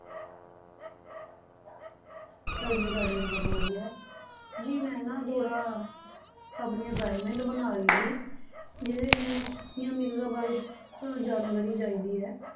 ਹਾਂਜੀ ਸਾਡੇ ਵੀ ਸਭ ਵਧੀਆ, ਜੀ ਮੈਂ ਨਾ ਥੋੜ੍ਹਾ ਆਪਣੀ assignment ਬਣਾ ਰਹੀ ਸੀ, ਜਿਹਦੇ 'ਚ ਮੈਨੂੰ ਸਾਨੀਆ ਮਿਰਜ਼ਾ ਬਾਰੇ ਜਾਣਕਾਰੀ ਚਾਹੀਦੀ ਹੈ।